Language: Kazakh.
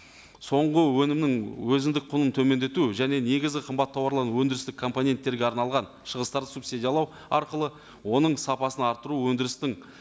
соңғы өнімнің өзіндік құнын төмендету және негізгі қымбат тауарларын өндірістік компонеттерге арналған шығыстарды субсидиялау арқылы оның сапасын арттыру өндірістің